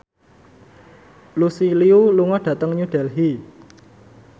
Lucy Liu lunga dhateng New Delhi